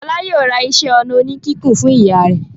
Fọlá yóò ra iṣẹ́-ọnà oníkíkùn fún ìyá rẹ̀.